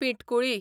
पिंटकुळी